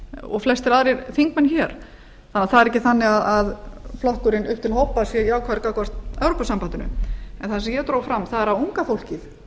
og flestir aðrir þingmenn hér það er því ekki þannig að flokkurinn upp til hópa sé jákvæður gagnvart evrópusambandinu það sem ég dró fram er að unga fólkið